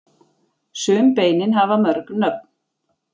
sum beinin hafa mörg nöfn